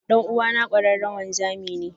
Dan'uwana kwararre wanzami ne.